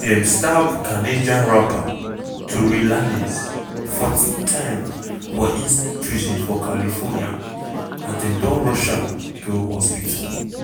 dem stab canadian rapper tory lanez 14 times for inside prison for california and dem don rush am go hospital.